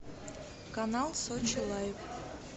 канал сочи лайв